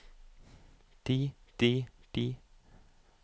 de de de